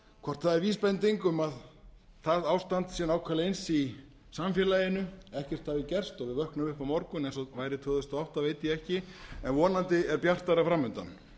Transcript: hvort það er vísbending um að það ástand sé nákvæmlega eins í samfélaginu ekkert hafi gerst og við vöknum upp á morgun eins og væri tvö þúsund og átta veit ég ekki en vonandi er bjartara fram undan